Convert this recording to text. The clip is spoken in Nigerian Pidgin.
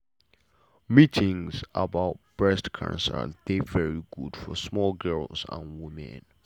meetings about breast cancer dey very good for small girls and women women